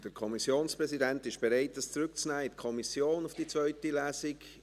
Der Kommissionspräsident ist bereit, dies für die zweite Lesung in die Kommission zurückzunehmen.